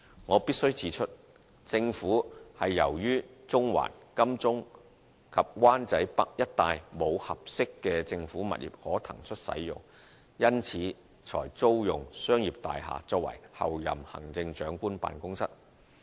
我必須指出，政府由於中環、金鐘及灣仔北一帶沒有合適的政府物業可騰出使用，因此才租用商業大廈作為候任行政長官辦公室。